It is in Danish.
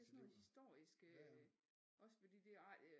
Det er sådan noget historisk øh også fordi